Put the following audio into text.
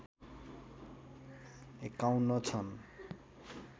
५१ छन्